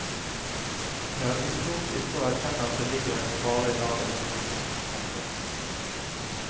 Det er uklokt ikke å erkjenne at det ligger en fare i dagens situasjon. punktum